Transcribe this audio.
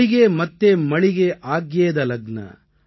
ஹொளிகே மத்தே மளிகே ஆக்யேத லக்ன